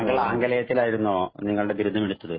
താങ്കള്‍ ആംഗലേയത്തില്‍ ആയിരുന്നോ നിങ്ങളുടെ ബിരുദം എടുത്തത്?